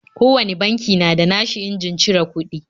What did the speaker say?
Kowane banki na da na shi injin cire kuɗi